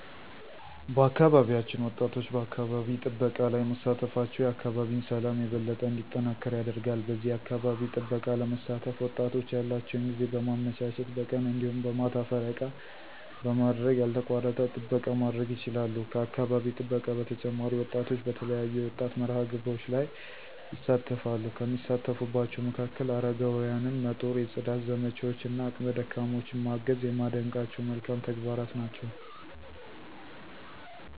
በአካባቢያችን ወጣቶች በአካባቢ ጥበቃ ላይ መሳተፋቸው የአካባቢን ሠላም የበለጠ እንዲጠናከር ያደርጋል። በዚህ የአካባቢ ጥበቃ ለመሳተፍ ወጣቶች ያላቸውን ጊዜ በማመቻቸት በቀን እንዲሁም በማታ ፈረቃ በማድረግ ያልተቋረጠ ጥበቃ ማድረግ ይችላሉ። ከአካባቢ ጥበቃ በተጨማሪ ወጣቶች በተለያዩ የወጣት መርሃ-ግብሮች ላይ ይሣተፈሉ፤ ከሚሳተፉባቸው መካከል፦ አረጋውያንን መጦር፣ የፅዳት ዘመቻዎች እና አቅመ ደካሞችን ማገዝ የማደንቃቸው መልካም ተግባራት ናቸው።